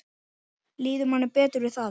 Líður manni betur við það?